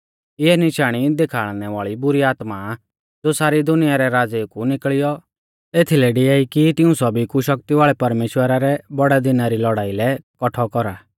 इऐ निशाणी देखाल़णै वाल़ी बुरी आत्मा आ ज़ो सारी दुनिया रै राज़ेऊ कु निकल़ियौ एथीलै डिआई कि तिऊं सौभी कु शक्ति वाल़ै परमेश्‍वरा रै बौड़ै दिना री लौड़ाई लै कौठौ कौरा